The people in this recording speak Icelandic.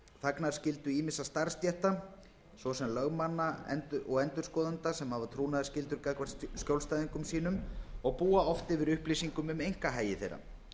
þagnarskyldu ýmissa starfsstétta svo sem lögmanna og endurskoðenda sem hafa trúnaðarskyldur gagnvart skjólstæðingum sínum og búa oft yfir upplýsingum um einkahagi þeirra